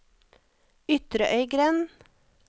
Ytrøygrend